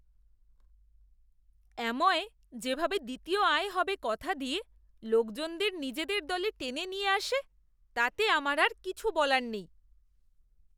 Amway যেভাবে দ্বিতীয় আয় হবে কথা দিয়ে লোকদের নিজদের দলে টেনে নিয়ে আসে তাতে আমার আর কিছু বলার নেই!